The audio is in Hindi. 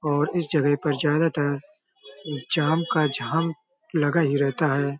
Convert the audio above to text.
और इस जगह पर ज्यादातर जाम का झाम लगा ही रहता है।